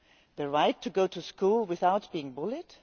The right to go to school without being bullied?